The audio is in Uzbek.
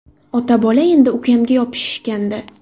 Ota-bola endi ukamga yopishishgandi.